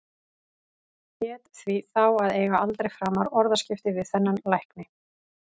Hét því þá að eiga aldrei framar orðaskipti við þennan lækni.